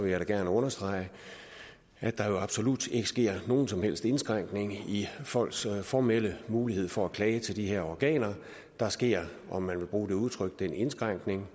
jeg da gerne understrege at der jo absolut ikke sker nogen som helst indskrænkning i folks formelle mulighed for at klage til de her organer der sker om man vil bruge det udtryk den indskrænkning